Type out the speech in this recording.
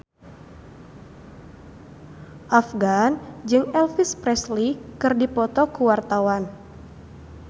Afgan jeung Elvis Presley keur dipoto ku wartawan